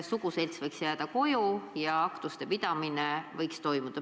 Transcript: Suguselts võiks koju jääda, aga aktused võiks toimuda.